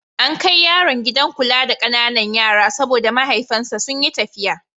An kai yaron gidan kula da ƙananan yara saboda mahaifansa sun yi tafiya.